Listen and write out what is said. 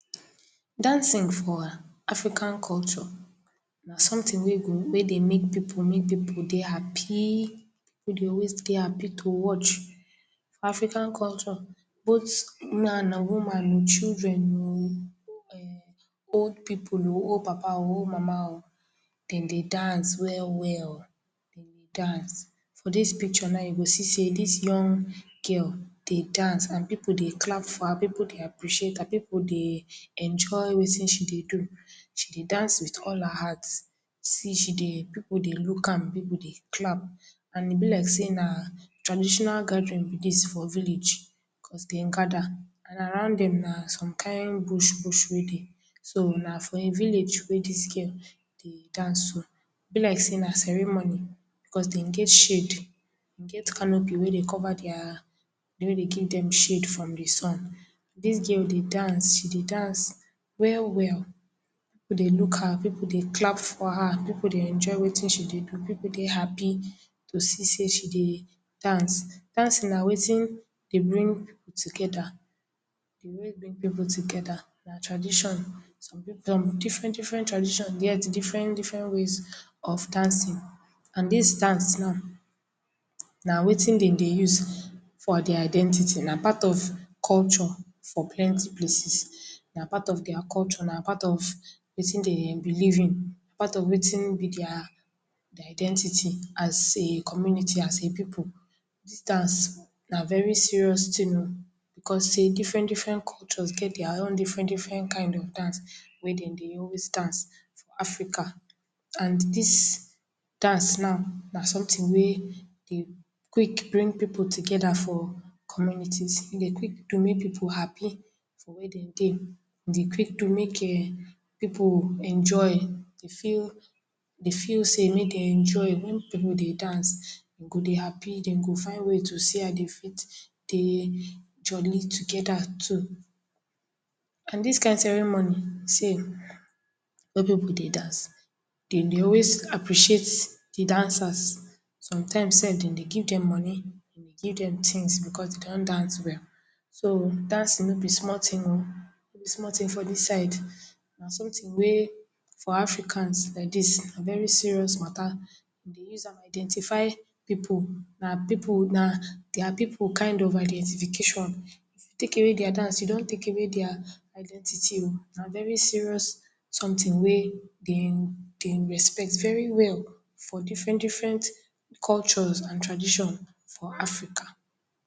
Dancing for African culture na somtin wey dey make pipu mek pipu dey hapi. Pipu dey hapi always dey hapi to watch for African culture both man o, woman o, children o, and old pipu o, old papa o, old mama o, den dey dance well-well o, den dey dance. For dis pikcho now you go see sey dis young girl, dey dance, pipu dey appreciate am pipu dey enjoy wetin she dey do, she dey dance with all her heart. See she dey…. Pipu dey luk am, pipu dey clap and e be like sey na traditional gadarin be dis for village bicos dem gada and around dem na som kind bush-bush wey dey. So na for im village wey dis girl dey dance so. E be like sey na ceremony bicos dem get shade, dem get kanopi wey dey cover dia….. wey dey give dem shade from di sun, dis girl dey dance, she dey dance well-well, pipu dey luk her, pipu dey clap for her, pipu dey enjoy wetin she dey do, pipu dey hapi to see sey she dey dance. Dance na wetin dey bring pipu togeda D way bring people together na tradition some pipu, different- diferent tradition get diferent ways of dancin and dis dance now, na wetin den dey use for dia identity, na part of culture for plenty places, na part of dia culture, na part of wetin dem dey belief in, na part of wetin be dia identity as a community as a pipu. Dis dance na very serious tin o, bicos sey diferent-diferent kolcho get dia own diferent-diferent kind of dance wey dem dey always dance for Africa and dis dance now na somtin wey dey quik bring pipu togeda for communities, e dey quik dey make pipu hapi for where dem dey. E dey quik do mek pipu enjoy, dey fit dey mey dem enjoy wen pipu dey dance. Dem go dey hapi dem go dey find way to see how dey fit go take joli together too. And dis kind ceremony sef wey pipu dey dance, dem dey always appreciate di dancers some time sef, dem dey give dem money, dem dey give dem tins becos dey con dance well. So dancing no be small tin o, no be small tin for dis side. Na somtin wey for Africans like dis na very serious mata, dem dey use am identify pipu, na pippu na dia pipu kind of identification. If you take away dia dance, you don take away dia identity o, na very serious somtin wey dem respect veri well for diferent-diferent cultures and tradition for Africa.